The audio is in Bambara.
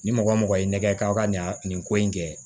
Ni mɔgɔ mɔgɔ y'i nɛgɛ k'aw ka nin ko in kɛ